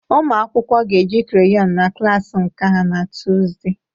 Ụmụ akwụkwọ ga-eji crayon na klas nka ha na Tọzdee